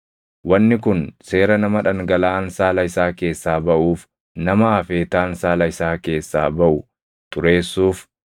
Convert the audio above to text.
Wanni kun seera nama dhangalaʼaan saala isaa keessaa baʼuuf, nama afeetaan saala isaa keessaa baʼu xureessuuf,